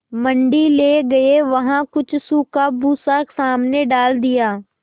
मंडी ले गये वहाँ कुछ सूखा भूसा सामने डाल दिया